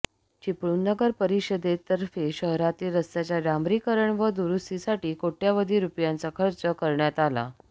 चिपळूण नगर परिषदेतर्फे शहरातील रस्त्याच्या डांबरीकरण व दुरुस्तीसाठी कोटय़वधी रुपयांचा खर्च करण्यात आला